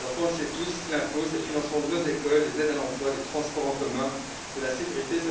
Nous le savons tous l'impôt, c'est le financement de nos écoles, des aides à l'emploi, des transports en commun, de la sécurité